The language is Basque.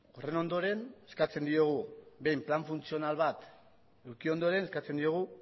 plan funtzional bat eduki ondoren eskatzen diogu